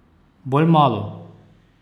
Bolj malo!